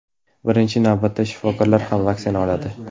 Birinchi navbatda shifokorlar ham vaksina oladi.